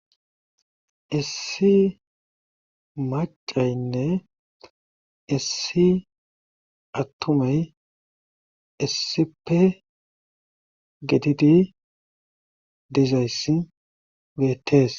Issi maccaynne issi attuamay issippe gididi dizayssi beettees.